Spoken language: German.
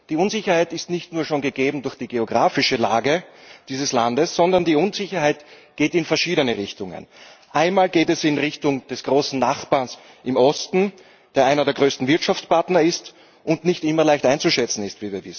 Die Unsicherheit ist nicht nur schon gegeben durch die geografische Lage dieses Landes, sondern die Unsicherheit geht in verschiedene Richtungen. Einmal geht es in Richtung des großen Nachbarn im Osten, der einer der größten Wirtschaftspartner ist und wie wir wissen nicht immer leicht einzuschätzen ist.